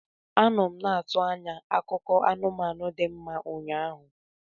Anọ m na-atụ anya akụkọ anụmanụ dị mma ụnyaahụ.